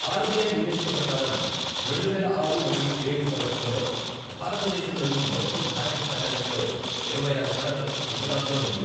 RBI నివేదిక ప్రకారం, రెండువేల ఆరు మరియు ఏడు సంవత్సరంలో, భారతదేశంలోని మొత్తం బ్యాంక్ ఫైనాన్స్లో ఇరవై ఆరు శాతం గుజరాత్లో ఉంది.